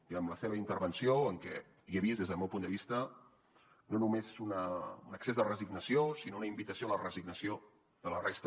i en la seva intervenció en què hi he vist des del meu punt de vista no només un excés de resignació sinó una invitació a la resignació de la resta